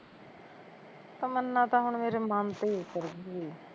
ਤਮਨਾ ਤਾਂ ਹੁਣ ਮੇਰੇ ਮਨ ਤੇ ਈ ਉੱਤਰਗੀ